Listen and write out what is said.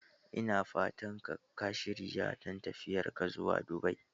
Ina fatan ka shirya don tafiyar ka zuwa Dubai?